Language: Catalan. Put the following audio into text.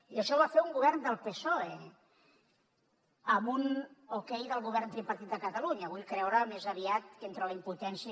i això ho va fer un govern del psoe amb un okay del govern tripartit de catalunya vull creure més aviat que entre la impotència